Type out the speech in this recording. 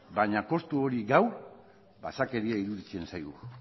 baina kostu hori gaur basakeria iruditzen zaigu